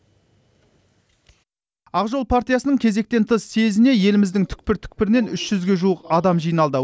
ақ жол партиясының кезектен тыс съезіне еліміздің түкпір түкпірінен үш жүзге жуық адам жиналды